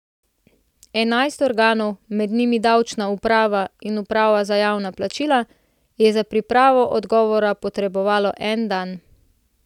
Enajst organov, med njimi davčna uprava in uprava za javna plačila, je za pripravo odgovora potrebovalo en dan.